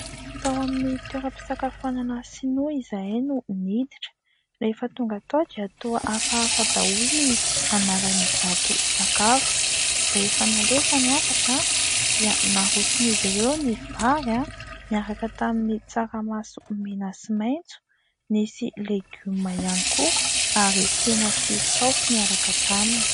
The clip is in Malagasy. Tao amin'ny toeram-pisakafoanana sinoa izahay no niditra, rehefa tonga tao dia toa hafahafa daholo ny anaran'ny izato sakafo, rehefa nalefa ny hafatra dia naroson' izy ireo ny vary niaraka tamin'ny tsaramaso mena sy maitso, nisy legioma ihany koa ary hena sy saosy niaraka taminy.